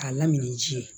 K'a lamini ji ye